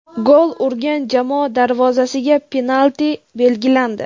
gol urgan jamoa darvozasiga penalti belgilandi.